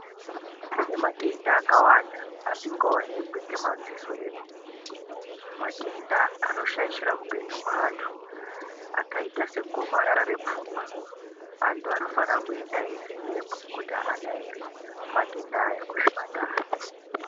Kune matenda akawanda asingaonekwi ngemadziso edu, matenda anoshaishira upenyu hwaantu, akaita segomarara repfungwa antu anofana kuenda eyivhenekwa kuti haana here matenda aya kuzvipatara.